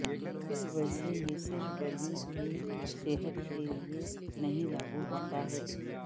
ویسے یہ صرف بلی کی صحت کے لئے نہیں لاگو ہوتا ہے